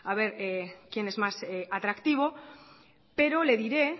ver quién es más atractivo pero le diré